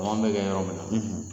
Kalan bɛ kɛ yɔrɔ min na.